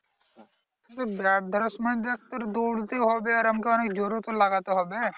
Bat ধরার সময় দেখ তোর দৌড়তেই হবে আর আমাকে অনেক জোরও তো লাগাতে হবে।